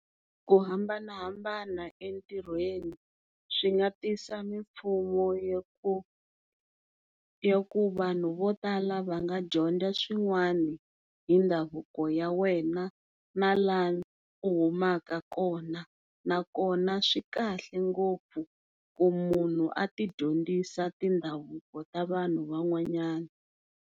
Ku hambanahambana entirhweni swinga tisa mimpfuno yo ku vanhu vo tala va nga dyondza swin'wani hi ndhavuko ya wena na la u humaka kona na kona swikahle ngopfu ku munhu a ti dyondzisa ti ndhavuko ta vanhu van'wanyana.